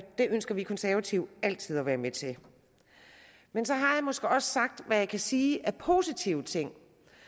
det ønsker vi konservative altid at være med til men så har jeg måske også sagt hvad jeg kan sige af positive ting